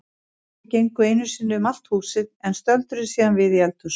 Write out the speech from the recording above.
Mamma og pabbi gengu einu sinni um allt húsið en stöldruðu síðan við í eldhúsinu.